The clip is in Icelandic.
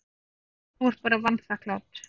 Þú ert bara vanþakklát.